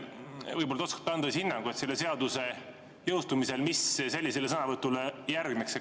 Võib-olla te oskate anda hinnangu, mis selle seaduse jõustumise korral sellisele sõnavõtule järgneks.